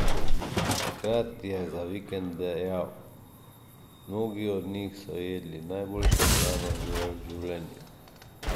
Takrat je za Vikend dejal: 'Mnogi od njih so jedli najboljšo hrano v življenju.